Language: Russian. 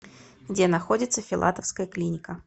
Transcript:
где находится филатовская клиника